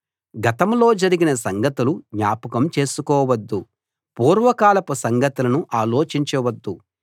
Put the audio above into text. గతంలో జరిగిన సంగతులు జ్ఞాపకం చేసుకోవద్దు పూర్వకాలపు సంగతులను ఆలోచించవద్దు